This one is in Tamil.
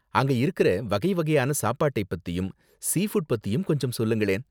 அங்க இருக்குற வகை வகையான சாப்பாட்டை பத்தியும், சீ ஃபுட் பத்தியும் கொஞ்சம் சொல்லுங்களேன்.